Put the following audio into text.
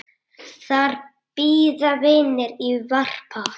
Þar bíða vinir í varpa.